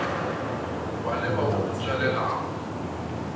wa leba wo o tšwelelago